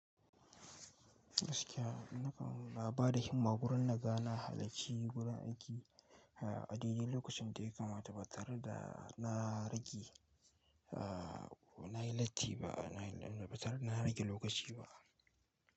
Gaskiya nakan na ba da himma wurin na ga na halacci wurin aiki, a a a dai dai lokacin da ya kamata ba tare da na rage aa nayi latti ba ba tare da na rage lokaci ba.